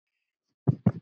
og Hvað nærir mig?